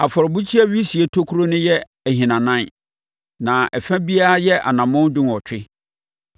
Afɔrebukyia wisie tokuro no yɛ ahinanan, na ɛfa biara yɛ anammɔn dunwɔtwe.